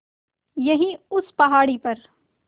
यहीं उस पहाड़ी पर